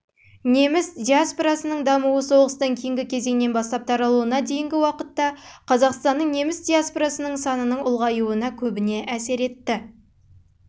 неміс диаспорасының дамуы соғыстан кейінгі кезеңнен бастап таралуына дейінгі уақытта қазақстанның неміс диаспорасының санының ұлғаюы көбіне